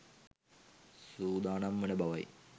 සූදානම් වන බවයි.